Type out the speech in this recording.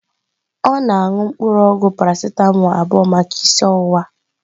Ọ na-aṅụ mpuru ogwu Parasịtamọọlụ abụọ maka isi ọwụwa.